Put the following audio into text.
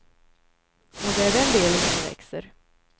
Och det är den delen som växer.